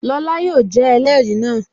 Lọla yóò jẹ́ ẹlẹrìí náà